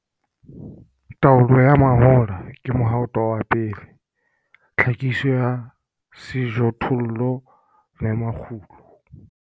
TAOLO YA MAHOLA KE MOHATO WA PELE TLHAHISONG YA SEJOTHOLLO LE MAKGULO.